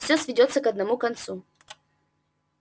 всё сведётся к одному концу